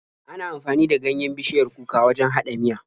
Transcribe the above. Ana amfani da ganyen bishiyar kuka wajen haɗa miya.